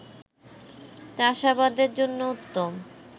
চাষাবাদের জন্য উত্তম